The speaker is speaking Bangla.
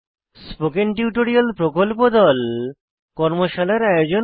স্পোকেন টিউটোরিয়াল প্রকল্প দল কর্মশালার আয়োজন করে